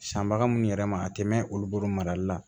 Sanbaga minnu yɛrɛ ma a tɛ mɛn olu bolo marali la